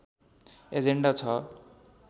agenda छ